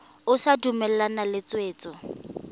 o sa dumalane le tshwetso